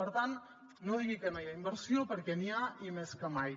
per tant no digui que no hi ha inversió perquè n’hi ha i més que mai